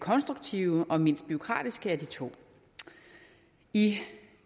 konstruktive og mindst bureaukratiske af de to i